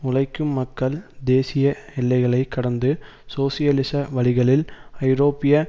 உழைக்கும் மக்கள் தேசிய எல்லைகளை கடந்து சோசியலிச வழிகளில் ஐரோப்பிய